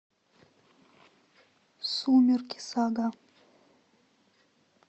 сумерки сага